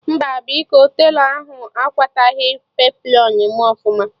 Mba biko, telọ ahụ akwataghi peplọn mụ ọfụma